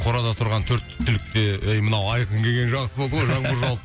қорада тұрған төрт түлік те ей мынау айқын келгені жақсы болды ғой жаңбыр жауып